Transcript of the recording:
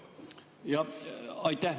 Jah, aitäh!